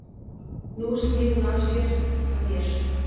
Nú snýr hún sér að mér.